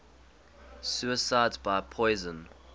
suicides by poison